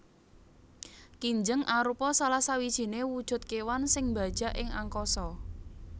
Kinjeng arupa salah sijiné wujud kéwan sing mbajak ing angkasa